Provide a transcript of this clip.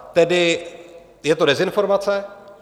Tedy je to dezinformace?